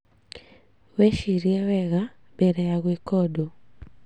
Wicirie wega mbere ya gwika ũndũ